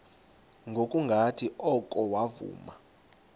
ngokungathi oko wavuma